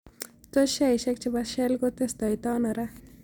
Tos' sheaishiek che po shell kotestai ta ano ra